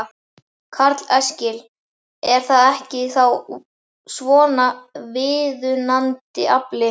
Karl Eskil: Er það ekki þá svona viðunandi afli?